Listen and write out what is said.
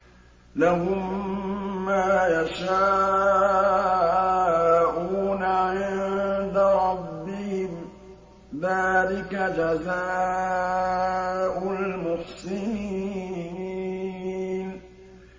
لَهُم مَّا يَشَاءُونَ عِندَ رَبِّهِمْ ۚ ذَٰلِكَ جَزَاءُ الْمُحْسِنِينَ